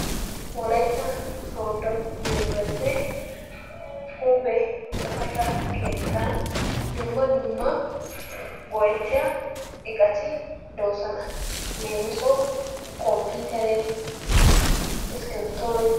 Wolaytta sooddo yunburesttee huuphe tsifate keettaa dumma dumma go'ettiya iqati de'oosona. Leemisuwawu komppiitere, iskkibirittoyi....